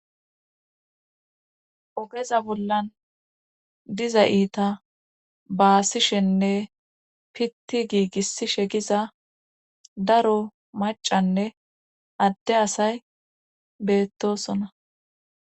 ogeza bollan diza iita baasishenne pitti giigis shegiza daro macanne adde asay beettosona